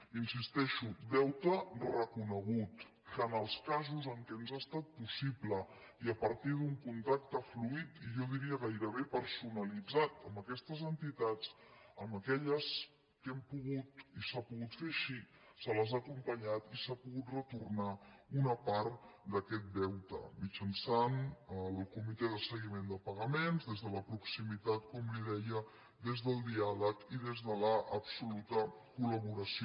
hi insisteixo deute reco·negut que en els casos en què ens ha estat possible i a partir d’un contacte fluid i jo diria gairebé persona·litzat amb aquestes entitats amb aquelles que hem po·gut i s’ha pogut fer així se les ha acompanyat i s’ha pogut retornar una part d’aquest deute mitjançant el comitè de seguiment de pagaments des de la proximi·tat com li deia des del diàleg i des de l’absoluta col·laboració